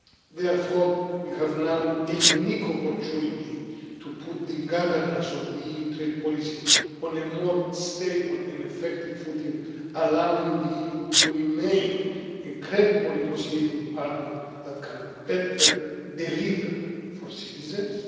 Therefore, we have now a unique opportunity to put the governance of the EU trade policy on a more stable and effective footing, allowing the EU to remain a credible negotiating partner that can better deliver for citizens.